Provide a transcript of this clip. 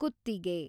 ಕುತ್ತಿಗೆ